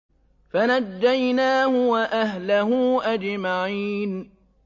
فَنَجَّيْنَاهُ وَأَهْلَهُ أَجْمَعِينَ